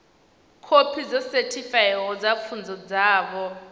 khophi dzo sethifaiwaho dza pfunzo dzavho